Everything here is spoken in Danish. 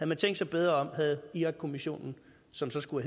man tænkt sig bedre om havde irakkommissionen som så skulle